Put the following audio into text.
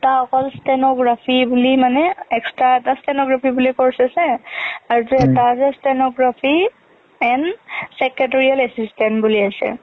এটা অকল stenography বুলি মানে extra এটা stenography বুলি course আছে , আৰু টো এটা stenography and secretarial assistant বুলি এটা আছে।